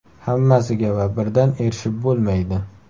Hammasiga va birdan erishib bo‘lmaydi.